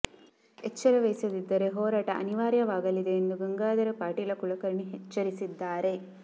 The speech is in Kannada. ಏಚ್ಚರ ವಹಿಸಿದಿದ್ದರೆ ಹೋರಾಟ ಅನಿವಾರ್ಯವಾಗಲಿದೆ ಎಂದು ಗಂಗಾಧರ ಪಾಟೀಲ ಕುಲಕರ್ಣಿ ಎಚ್ಚರಿಸಿದ್ದಾರೆ